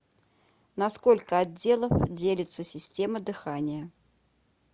на сколько отделов делится система дыхания